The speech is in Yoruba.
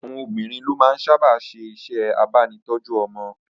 Àwọn obìnrin ló máa ń sábà ṣe iṣẹ́ abánitọ́jú ọmọ